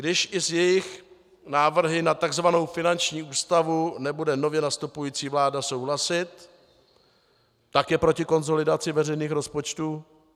Když i s jejich návrhy na tzv. finanční ústavu nebude nově nastupující vláda souhlasit, tak je proti konsolidaci veřejných rozpočtů?